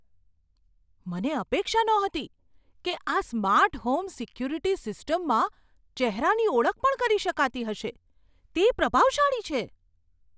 મને અપેક્ષા નહોતી કે આ સ્માર્ટ હોમ સિક્યુરિટી સિસ્ટમમાં ચહેરાની ઓળખ પણ કરી શકાતી હશે. તે પ્રભાવશાળી છે!